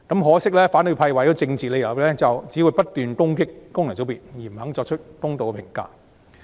可惜，反對派為了政治理由只會不斷攻擊功能界別，不肯作出公道的評價。